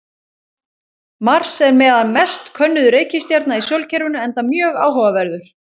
Mars er meðal mest könnuðu reikistjarna í sólkerfinu enda mjög áhugaverður.